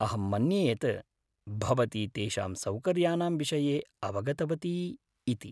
अहं मन्ये यत् भवती तेषां सौकर्यानां विषये अवगतवती इति।